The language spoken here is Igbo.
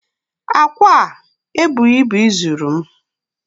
Akwa a ebuhi ibu izuru m